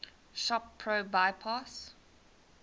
shop pro bypass